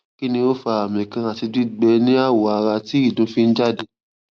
kini o fa ami kan ati gbigbe ni awo ara ti idun fi n jade